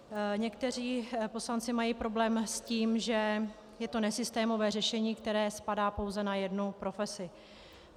Někteří poslanci mají problém s tím, že je to nesystémové řešení, které spadá pouze na jednu profesi.